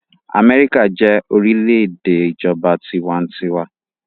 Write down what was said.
Amẹ́ríkà jẹ́ orílẹ̀-èdè ìjọba tiwantiwa.